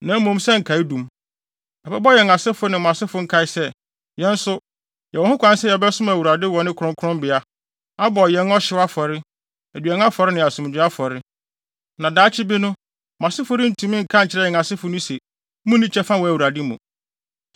na mmom sɛ nkaedum. Ɛbɛbɔ yɛn asefo ne mo asefo nkae sɛ, yɛn nso, yɛwɔ ho kwan sɛ yɛbɛsom Awurade wɔ ne kronkronbea, abɔ yɛn ɔhyew afɔre, aduan afɔre ne asomdwoe afɔre. Na daakye bi no, mo asefo rentumi nka nkyerɛ yɛn asefo no se, ‘Munni kyɛfa wɔ Awurade mu.’